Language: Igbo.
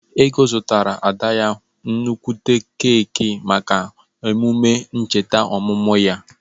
Ego zụtara Ada ya nnukwute keeki maka emume ncheta ọmụmụ ya.